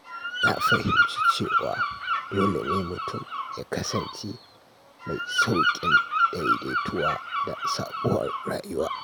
Na fahimci cewa dole ne mutum ya kasance mai sauƙin daidaituwa da sabuwar rayuwa.